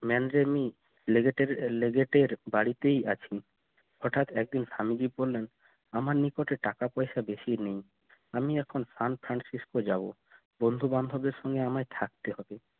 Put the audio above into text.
বাড়িতেই আছি হঠাৎ একদিন স্বামীজি বললেন আমার নিকটে টাকা পয়সা বেশি আমি এখন san Francisco যাব বন্ধু-বান্ধবের সঙ্গে আমায় থাকতে হবে